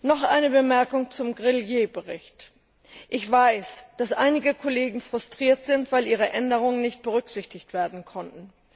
Noch eine Bemerkung zum Bericht Grelier Ich weiß, dass einige Kollegen frustriert sind, weil ihre Änderungswünsche nicht berücksichtigt werden konnten.